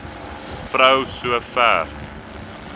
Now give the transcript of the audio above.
vrou so ver